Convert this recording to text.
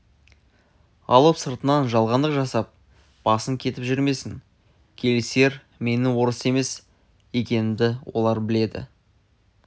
алып сыртыңнан жалғандық жасап басын кетіп жүрмесін келісер менің орыс емес екенімді олар біледі